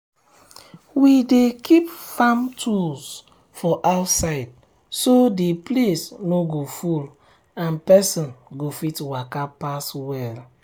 we dey keep farm tools um for outside so um the place no go full and person go fit waka pass well.